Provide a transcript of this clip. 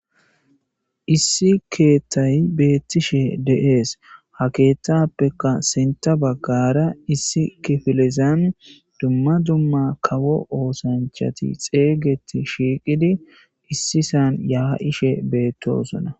Issi keeththayi betishe deesi ha keeththapekka sinththa baggara issi kifilezani dumma dumma kawo osanichchati xeyigeti shiqiddi issi sani yaishshe betosona